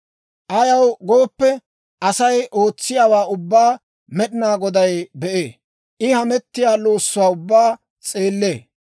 Ayaw gooppe, Asay ootsiyaawaa ubbaa Med'inaa Goday be'ee; I hamettiyaa loossuwaa ubbaa s'eellee.